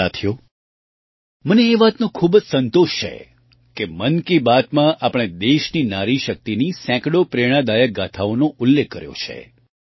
સાથીઓ મને એ વાતનો ખૂબ જ સંતોષ છે કે મન કી બાતમાં આપણે દેશની નારી શક્તિની સેંકડો પ્રેરણાદાયક ગાથાઓનો ઉલ્લેખ કર્યો છે